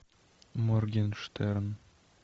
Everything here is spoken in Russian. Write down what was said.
моргенштерн